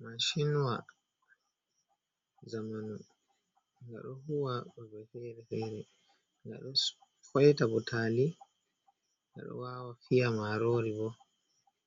mashin wa zamanu ngada huwa kude ferefere nga do faita butali ngado wawa fiya marori bo